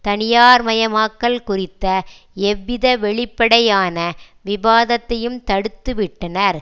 தனியார்மயமாக்கல் குறித்த எவ்வித வெளிப்படையான விவாதத்தையும் தடுத்துவிட்டனர்